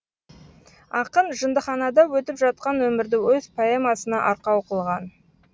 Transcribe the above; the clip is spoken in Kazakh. ақын жындыханада өтіп жатқан өмірді өз поэмасына арқау қылған